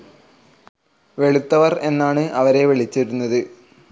വെളുത്തവർ എന്നാണ് അവരെ വിളിച്ചിരുന്നത്.